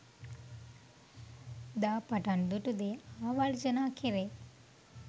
දා පටන් දුටු දේ ආවර්ජනා කෙරේ.